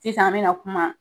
ikan an bɛna kuma.